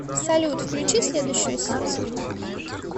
салют включи следующую серию